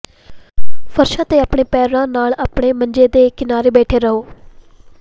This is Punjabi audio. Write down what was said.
ਫਰਸ਼ ਤੇ ਆਪਣੇ ਪੈਰਾਂ ਨਾਲ ਆਪਣੇ ਮੰਜੇ ਦੇ ਕਿਨਾਰੇ ਬੈਠੇ ਰਹੋ